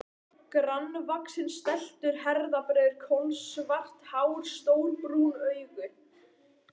Grannvaxinn, stæltur, herðabreiður, kolsvart hár, stór brún augu.